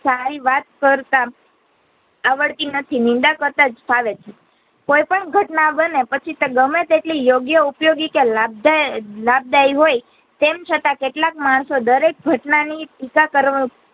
સારી વાત કરતા આવડતી નથી. નિંદા કરતા જ ફાવે છે. કોઈ પણ ઘટના બને પછી તો ગમે તે ઉપયોગી કે લાભદાયક લાભદાયી હોઈ તેમ છતાં કેટલાક માણસો દરેક ઘટનાની ટીકા કરવા